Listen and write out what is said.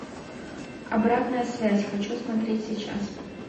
обратная связь хочу смотреть сейчас